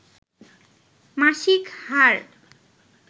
মাসিক হার